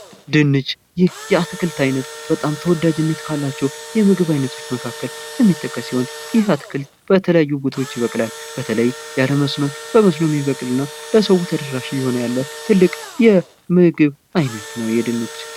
ድንች ይህ የአትክልት ዓይነት በጣም ተወዳጅ ካላቸው የምግብ ዓይነቶች መካከል የሚጠቀስ ሲሆን ይህ አትክልት በተለያዩ ቦታዎች ይበቅላል። በተለይ መስኖ እና በመስኖ የሚበቅል ለሰዉ ተደራሽ እየሆነ ያለ ትልቅ የምግብ ዓይነት ነው። ድንች